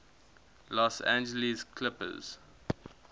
los angeles clippers